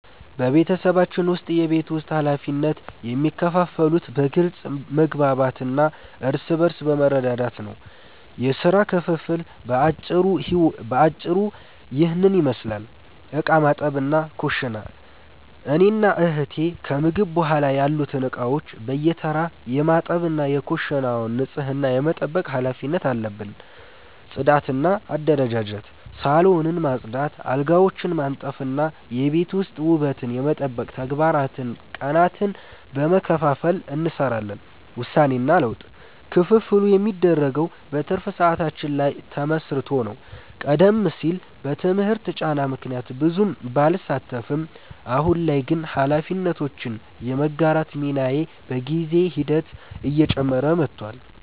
በቤተሰባችን ውስጥ የቤት ውስጥ ኃላፊነቶች የሚከፋፈሉት በግልጽ መግባባት እና እርስ በርስ በመረዳዳት ነው። የሥራ ክፍፍሉ በአጭሩ ይህንን ይመስላል፦ ዕቃ ማጠብና ኩሽና፦ እኔና እህቴ ከምግብ በኋላ ያሉትን ዕቃዎች በየተራ የማጠብ እና የኩሽናውን ንጽህና የመጠበቅ ኃላፊነት አለብን። ጽዳትና አደረጃጀት፦ ሳሎንን ማጽዳት፣ አልጋዎችን ማንጠፍ እና የቤት ውስጥ ውበትን የመጠበቅ ተግባራትን ቀናትን በመከፋፈል እንሰራዋለን። ውሳኔና ለውጥ፦ ክፍፍሉ የሚደረገው በትርፍ ሰዓታችን ላይ ተመስርቶ ነው። ቀደም ሲል በትምህርት ጫና ምክንያት ብዙም ባልሳተፍም፣ አሁን ላይ ግን ኃላፊነቶችን የመጋራት ሚናዬ በጊዜ ሂደት እየጨመረ መጥቷል።